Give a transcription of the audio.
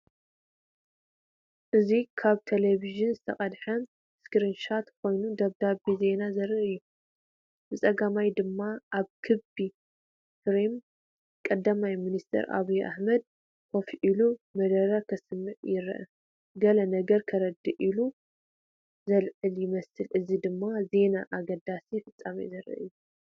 እዚ ካብ ቴሌቪዥን ዝተቐድሐ ስክሪን ሾት ኮይኑ፡ ጸብጻብ ዜና ዘርኢ እዩ። ብጸጋም ድማ ኣብ ክቢ ፍሬም ቀዳማይ ሚኒስተር ኣብይ ኣሕመድ ኮፍ ኢሉ መደረ ከስምዕ ይረአ። ገለ ነገር ከረድእ ኢዱ ዘልዕል ይመስል። እዚ ድማ ዜናን ኣገዳሲ ፍጻሜን ዘርኢ እዩ።